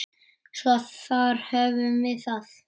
Svo þar höfum við það.